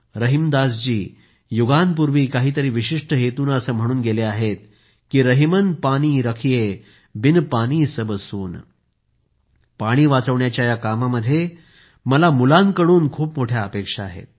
रहीमदास जी युगांपूर्वी काहीतरी विशिष्ट हेतूनं असं म्हणून गेले आहेत की रहिमन पानी राखिए बिन पानी सब सून आणि पाणी वाचविण्याच्या या कामामध्ये मला मुलांकडून खूप मोठ्या अपेक्षा आहेत